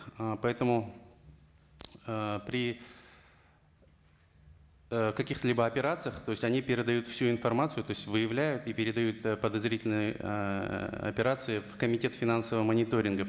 ы поэтому ыыы при ы каких либо операциях то есть они передают всю информацию то есть выявляют и передают э подозрительные ыыы операции в комитет финансового мониторинга